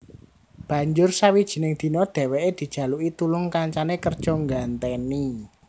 Banjur sawijining dina dhèwèké dijaluki tulung kancané kerja nggantèni